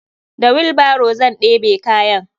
Da wilbaro zan ɗebe kayan.